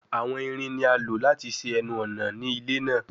Awọn irin ni a lo lati ṣe ẹnu-ọna ni ile naa